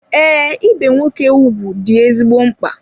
Ee, ibe nwoke ugwu dị ezigbo mkpa.